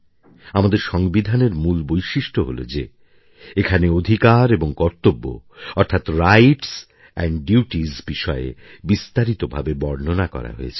আমাদের সংবিধানের মূল বৈশিষ্ট্য হল যে এখানে অধিকার এবং কর্তব্য অর্থাৎ রাইটস এন্ড ডিউটিস বিষয়ে বিস্তারিত ভাবে বর্ণনা করা হয়েছে